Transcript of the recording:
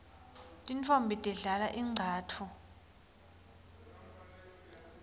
tintfombi tidlala ingcatfu